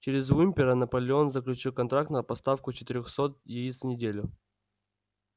через уимпера наполеон заключил контракт на поставку четырёхсот яиц в неделю